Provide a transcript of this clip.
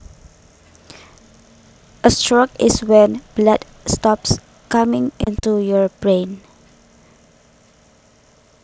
A stroke is when blood stops coming into your brain